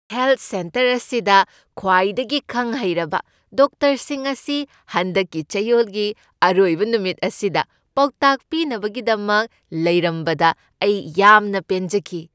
Health centre ꯑꯁꯤꯗ ꯈ꯭ꯋꯥꯏꯗꯒꯤ ꯈꯪ ꯍꯩꯔꯕ ꯗꯣꯛꯇꯔꯁꯤꯡ ꯑꯁꯤ ꯍꯟꯗꯛꯀꯤ ꯆꯌꯣꯜꯒꯤ ꯑꯔꯣꯏꯕ ꯅꯨꯃꯤꯠ ꯑꯁꯤꯗ ꯄꯥꯎꯇꯥꯛ ꯄꯤꯅꯕꯒꯤꯗꯃꯛ ꯂꯩꯔꯝꯕꯗ ꯑꯩ ꯌꯥꯝꯅ ꯄꯦꯟꯖꯈꯤ ꯫